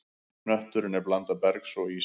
Hnötturinn er blanda bergs og íss.